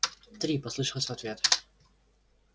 три послышалось в ответ